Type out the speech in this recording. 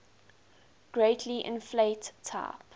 greatly inflate type